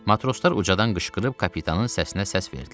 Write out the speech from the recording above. Matroslar ucadan qışqırıb kapitanın səsinə səs verdilər.